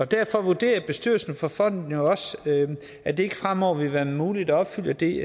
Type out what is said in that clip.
derfor vurderer bestyrelsen for fonden jo også at det ikke fremover vil være muligt at opfylde det